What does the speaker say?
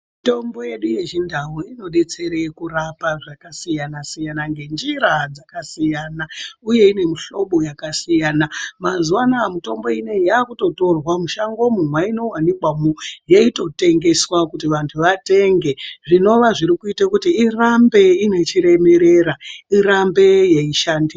Mitombo yedu yechindau inodetsere kurapa zvakasiyana siyana ngenjira dzakasiyana uye ine mihlobo yakasiyana. Mazuvanaa mitombo inoiyi yakutotorwa mushangomwo mwainowanikwamwo yeitotengeswa kuti vantu watenge zvinowa zviri kuite kuti irambe iine chiremerera irambe yeishandi.